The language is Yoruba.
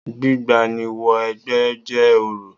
Gbígba ni wẹ 'gbẹ́ jẹ́ orò